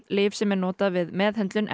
lyf sem er notað við meðhöndlun